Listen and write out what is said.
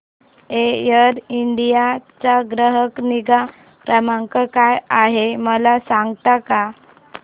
air India चा ग्राहक निगा क्रमांक काय आहे मला सांगता का